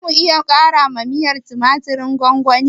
Zamu iya ƙarawa miyar tumatirin gwamgwani?